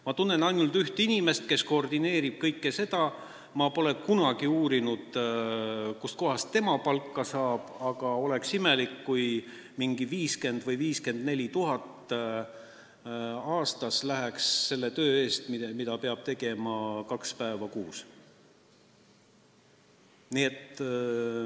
Ma tunnen ühte inimest, kes kõike seda koordineerib, ma pole kunagi uurinud, kust tema palka saab, aga oleks imelik, kui 50 000 või 54 000 aastas makstaks selle töö eest, mida peab tegema kaks päeva kuus.